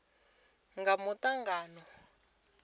nga matungo a fhethu a